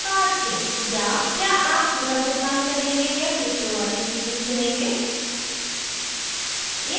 या क्या आप पूरा भुगतान करेंगे या किश्तों वाली स्कीम चुनेंगे